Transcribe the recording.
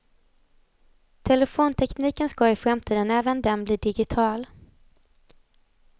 Telefontekniken ska i framtiden även den bli digital.